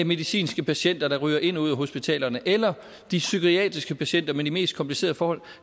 medicinske patienter der ryger ind og ud af hospitalerne eller de psykiatriske patienter med de mest komplicerede forhold